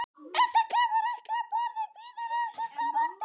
Edda kemur ekki upp orði, bíður eftir framhaldinu.